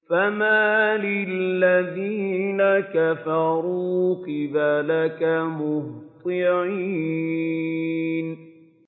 فَمَالِ الَّذِينَ كَفَرُوا قِبَلَكَ مُهْطِعِينَ